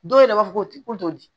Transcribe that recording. Dɔw yɛrɛ b'a fɔ ko to di